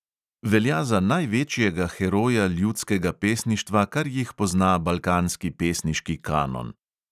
Velja za največjega heroja ljudskega pesništva, kar jih pozna balkanski pesniški kanon.